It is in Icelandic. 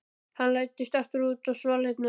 Hann læddist aftur út á svalirnar.